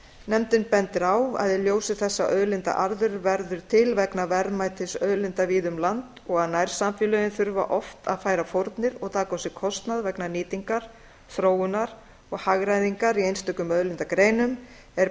nefndin bendir á að í ljósi þess að auðlindaarður verður til vegna verðmætis auðlinda víða um land og að nærsamfélögin þurfa oft að færa fórnir og taka á sig kostnað vegna nýtingar þróunar og hagræðingar í einstökum auðlindagreinum er